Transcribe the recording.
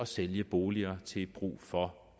sælge boliger i til brug for